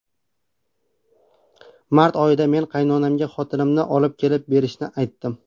Mart oyida men qaynonamga xotinimni olib kelib berishini aytdim.